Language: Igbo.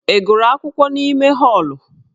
Ị gụrụ akwụkwọ n'ime họọlụ?